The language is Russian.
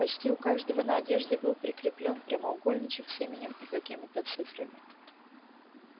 почти у каждого на одежде был прикреплён прямоугольничек с именем и какими-то цифрами